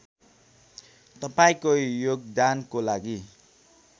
तपाईँको योगदानको लागि